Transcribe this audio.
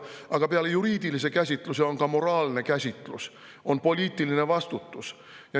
Aga peale juriidilise käsitluse on olemas moraalne käsitlus ja poliitiline vastutus.